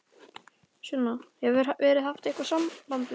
Sunna: Hefur verið haft samband við þá?